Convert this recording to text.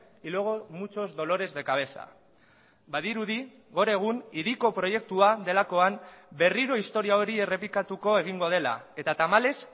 y luego muchos dolores de cabeza badirudi gor egun hiriko proiektua delakoan berriro historia hori errepikatuko egingo dela eta tamalez